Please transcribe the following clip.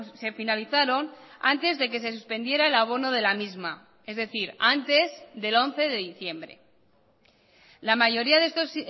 se finalizaron antes de que se suspendiera el abono de la misma es decir antes del once de diciembre la mayoría de estos